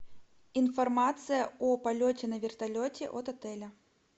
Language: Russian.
информация о полете на вертолете от отеля